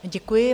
Děkuji.